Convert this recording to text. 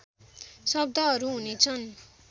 शब्दहरू हुनेछन्